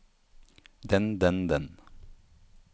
den den den